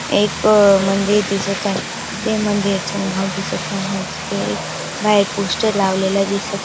एक मंदिर दिसत आहे ते मंदिरच नाव दिसत नाही हाय. तिथे बाहेर एक पोस्टर लावलेल दिसत--